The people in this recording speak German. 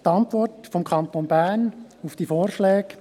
Die Antwort des Kantons Bern auf diese Vorschläge: